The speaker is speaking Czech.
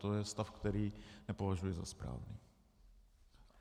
To je stav, který nepovažuji za správný.